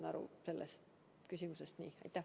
Ma sain sellest küsimusest aru nii.